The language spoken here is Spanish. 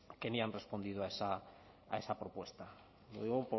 que ni han respondido a esa propuesta lo digo